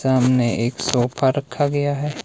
सामने एक सोफा रखा गया है।